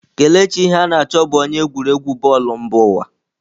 Kelechi Iheanacho bụ onye egwuregwu bọọlụ mba ụwa.